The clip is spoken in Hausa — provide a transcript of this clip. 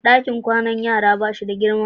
Dakin kwanan yara ba shi da girma.